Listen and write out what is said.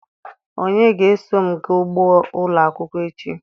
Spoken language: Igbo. Onye ga-eso m gaa ugbo ụlọ akwụkwọ echi?